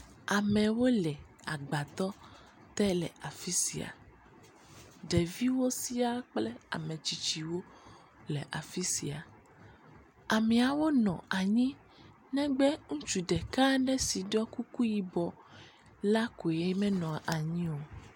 Amewo le agbadɔ te le afi sia. Ɖeviwo sia kple ame tsitsiwo le afi sia. Ameawo nɔ anyi negbe ŋutsu ɖeka aɖe si ɖɔ kuku yibɔ la koe menɔ anyi o.